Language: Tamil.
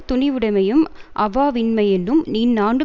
துணிவுடைமையும் அவாவின்மையுமென்னும் இந்நான்கு